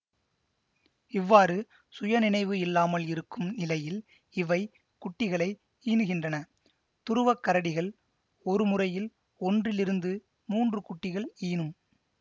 இவ்வாறு சுய நினைவு இல்லாமல் இருக்கும் நிலையில் இவை குட்டிகளை ஈனுகின்றனதுருவக் கரடிகள் ஒரு முறையில் ஒன்றிலிருந்து மூன்று குட்டிகள் ஈனும்